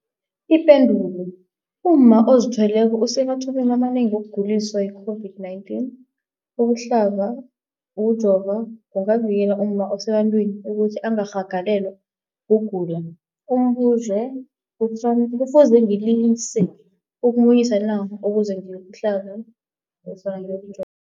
Ipendulo, umma ozithweleko usemathubeni amanengi wokuguliswa yi-COVID-19. Ukuhlaba, ukujova kungavikela umma osebantwini ukuthi angarhagalelwa kugula. Umbuzo, kufuze ngilise ukumunyisa na ukuze ngiyokuhlaba nofana ngiyoku